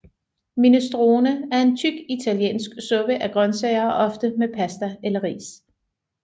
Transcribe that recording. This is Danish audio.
Minestrone er en tyk italiensk suppe af grøntsager og ofte med pasta eller ris